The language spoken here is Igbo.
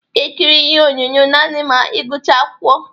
Ị ga ekiri ihe onyonyo nanị ma ị gucha akwụkwọ